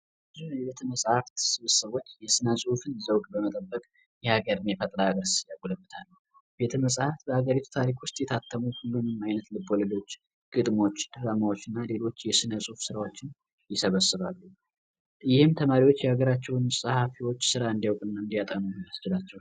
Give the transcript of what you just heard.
ዳይቢንግ ከተወሰነ ከፍታ ላይ ወደ ውሃ ውስጥ በመዝለል በተለያዩ የአኮች እንቅስቃሴዎች የሚወዳደሩበት ስፖርት ነው ድፍረት የሰውነት ቁጥጥር እና ትክክለኛ የሰውነት አቀማመጥ ወሳኝ ናቸው።